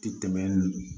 Ti tɛmɛ